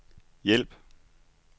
hjælp